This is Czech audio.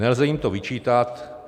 Nelze jim to vyčítat.